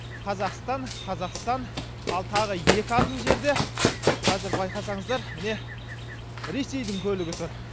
қазақстан қазақстан ал тағы екі адым жерде қазір байқасаңыздар міне ресейдің көлігі тұр